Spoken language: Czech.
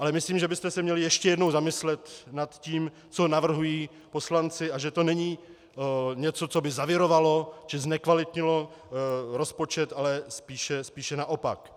Ale myslím, že byste se měli ještě jednou zamyslet nad tím, co navrhují poslanci, a že to není něco, co by zavirovalo či znekvalitnilo rozpočet, ale spíše naopak.